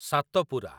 Satpura